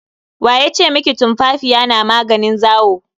Wa ya ce miki tumfafiya na maganin zawo?